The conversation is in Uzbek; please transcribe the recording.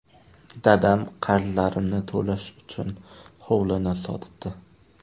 Dadam qarzlarimni to‘lash uchun hovlini sotibdi.